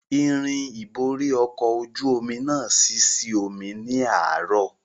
Irin ìborí ọkọ̀ ojú omi náà ṣí sí omi ní àárò